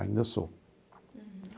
Ainda sou.